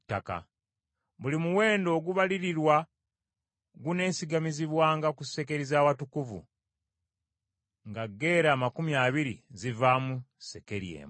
Buli muwendo ogubalirirwa guneesigamizibwanga ku sekeri z’Awatukuvu, nga gera amakumi abiri zivaamu sekeri emu.